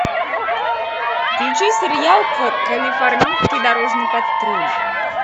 включи сериал калифорнийский дорожный патруль